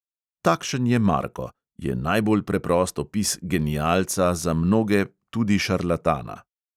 Takšen je marko, je najbolj preprost opis genialca, za mnoge tudi šarlatana.